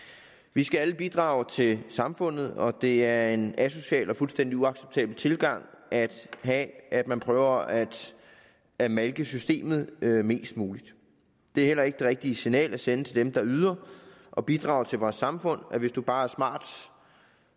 vi skal alle bidrage til samfundet og det er en asocial og fuldstændig uacceptabel tilgang at have at man prøver at at malke systemet mest muligt det er heller ikke det rigtige signal at sende til dem der yder og bidrager til vores samfund at hvis man bare er smart